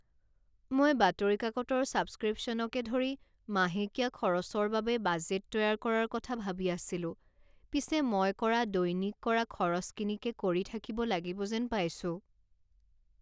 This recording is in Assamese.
মই বাতৰি কাকতৰ ছাবস্ক্ৰিপশ্যনকে ধৰি মাহেকীয়া খৰচৰ বাবে বাজেট তৈয়াৰ কৰাৰ কথা ভাবি আছিলো পিছে মই কৰা দৈনিক কৰা খৰচখিনিকে কৰি থাকিব লাগিব যেন পাইছোঁ।